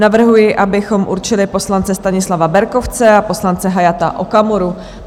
Navrhuji, abychom určili poslance Stanislava Berkovce a poslance Hayata Okamuru.